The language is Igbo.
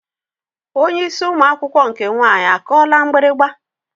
Onye isi ụmụ akwụkwọ nke nwaanyị akụọla mgbịrịgba?